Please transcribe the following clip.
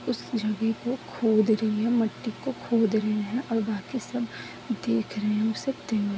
उस जगह को खोद रहे है मट्टी को खोद रहे है और बाकि सब देख रहे है उसे-- ।